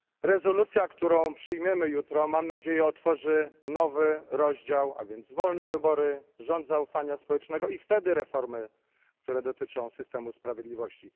Rezolucja, którą przyjmiemy jutro, mam nadzieję, otworzy nowy rozdział wolne wybory, rząd zaufania społecznego i wtedy reformy, które dotyczą systemu sprawiedliwości.